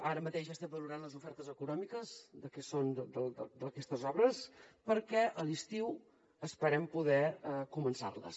ara mateix estem valorant les ofertes econòmiques del que són aquestes obres perquè a l’estiu esperem poder començar les